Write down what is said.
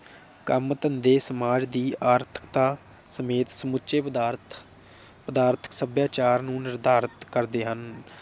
ਕੰਮ ਧੰਦੇ ਸਮਾਜ ਦੀ ਆਰਥਿਕਤਾ ਸਮੇਤ ਸਮੁੱਚੇ ਪਦਾਰਥ ਪਦਾਰਥਕ ਸਭਿਆਚਾਰ ਨੂੰ ਨਿਰਧਾਰਤ ਕਰਦੇ ਹਨ।